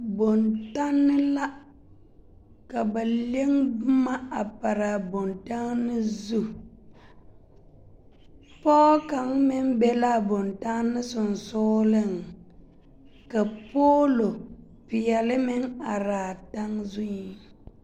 Bontanne la, ka ba le boma a pare a bontanne zu pɔge kaŋa meŋ be la a bontanne sonsooleŋ ka poolo peɛle meŋ are a taŋ zuiŋ.